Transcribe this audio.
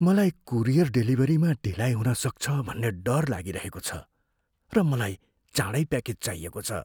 मलाई कुरियर डेलिभरीमा ढिलाइ हुन सक्छ भन्ने डर लागिरहेको छ, र मलाई चाँडै प्याकेज चाहिएको छ।